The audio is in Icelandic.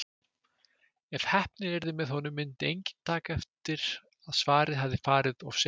Ef heppnin yrði með honum myndi enginn taka eftir að svarið hafði farið of seint.